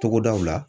Togodaw la